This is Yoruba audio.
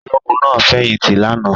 Ológun náà fẹ̀yìntì lánàá?